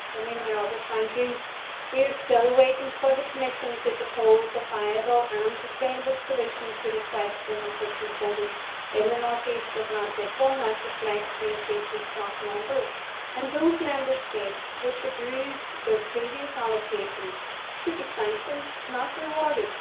Mr President, we are still waiting for the Commission to propose a viable and sustainable solution to the question of fishing quotas in the North East Atlantic, one that reflects the increase in stock number, and those Member States which abused their previous allocation should be sanctioned, not rewarded.